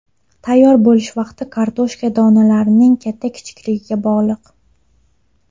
Tayyor bo‘lish vaqti kartoshka donalarining katta-kichikligiga bog‘liq.